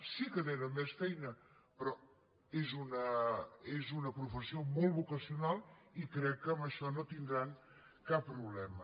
sí que tenen més feina però és una professió molt vocacional i crec que amb això no tindran cap problema